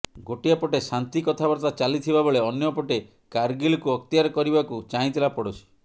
ଗୋଟିଏ ପଟେ ଶାନ୍ତି କଥାବାର୍ତ୍ତା ଚାଲିଥିବା ବେଳେ ଅନ୍ୟପଟେ କାର୍ଗିଲକୁ ଅକ୍ତିଆର କରିବାକୁ ଚାହିଁଥିଲା ପଡ଼ୋଶୀ